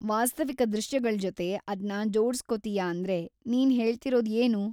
ವಾಸ್ತವಿಕ ದೃಶ್ಯಗಳ್ಜೊತೆ ಅದ್ನ ಜೋಡ್ಸ್‌ಕೊತೀಯ ಅಂದ್ರೆ ನೀನ್‌ ಹೇಳ್ತಿರೋದ್‌ ಏನು?